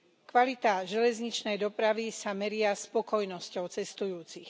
Kvalita železničnej dopravy sa meria spokojnosťou cestujúcich.